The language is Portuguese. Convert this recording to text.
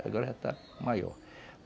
Agora já está maior.